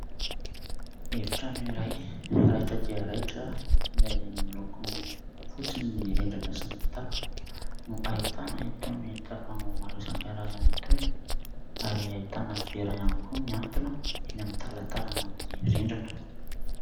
Efi-trano iray raitra dia raitra izay miloko fotsy ny rindrina sy ny tafo no ahitana itony tavoahangy maro isan-karazany itony ary ahitana vera ihany koa mihantona eny amin'ny talantalana eny amin'ny rindrina.